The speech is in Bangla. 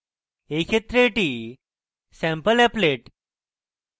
in ক্ষেত্রে এটি sampleapplet